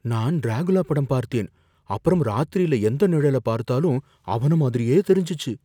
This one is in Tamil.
நான் டிராகுலா படம் பார்த்தேன், அப்புறம் ராத்திரில எந்த நிழல பார்த்தாலும் அவன மாதிரியே தெரிஞ்சுச்சு